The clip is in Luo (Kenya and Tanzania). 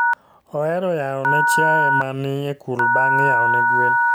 Ohero yao ne chiae ma ni e kul bang' yao ne gwen